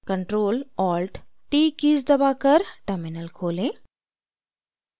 ctrl + alt + t keys दबाकर terminal खोलें